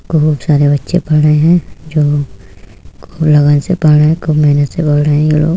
बहुत सारे बच्चे पढ़ रहे हैं जो खूब लगन से पढ़ रहे है। खूब मेहनत से पढ़ रहे है ये लोग।